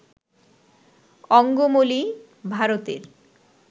অঙ্গমলী, ভারতের